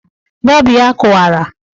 Bọọbụ ya kụwara.